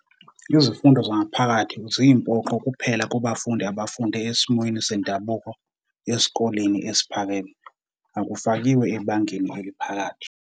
Izifundo zangaphakathi ziyimpoqo kuphela kubafundi abafunde esimweni sendabuko esikoleni esiphakeme, akufakiwe ebangeni eliphakathi.